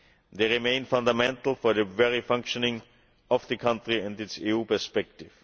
They remain fundamental for the very functioning of the country and its EU perspective.